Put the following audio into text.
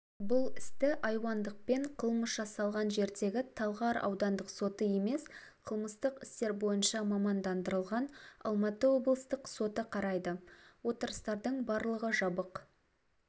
бұл істі айуандықпен қылмыс жасалған жердегі талғар аудандық соты емес қылмыстық істер бойынша мамандандырылған алматы облыстық соты қарайды отырыстардың барлығы жабық